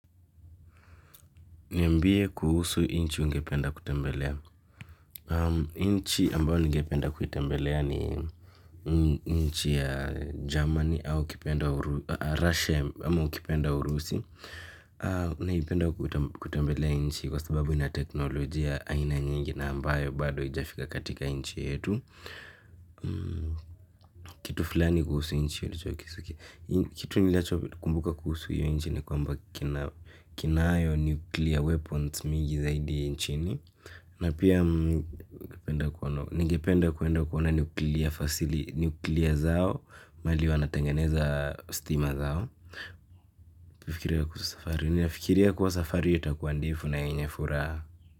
Niambie kuhusu nchi ungependa kutembelea. Nchi ambayo ningependa kuitembelea ni nchi ya Germany au ukipenda Russia ama ukipenda Urusi. Naipenda kutembelea nchi kwa sababu ina teknolojia aina nyingi na ambayo bado haijafika katika nchi yetu. Kitu fulani kuhusu nchi ulichokisikia. Kitu nilichokumbuka kuhusu hiyo nchi ni kwamba kinaayo nuclear weapons mingi zaidi nchini. Na pia ningependa kuenda kuona nuclear zao mahali wanatengeneza stima zao. Kufikiria kuhusu safari, ninafikiria kuwa safari yu itakuwa ndefu na yenye furaha.